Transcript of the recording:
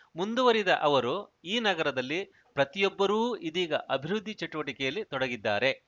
ಮುಂದುವರಿದ ಅವರು ಈ ನಗರದಲ್ಲಿ ಪ್ರತಿಯೊಬ್ಬರೂ ಇದೀಗ ಅಭಿವೃದ್ಧಿ ಚಟುವಟಿಕೆಯಲ್ಲಿ ತೊಡಗಿದ್ದಾರೆ